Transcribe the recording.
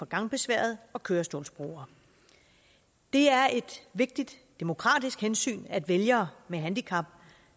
gangbesværede og kørestolsbrugere det er et vigtigt demokratisk hensyn at vælgere med handicap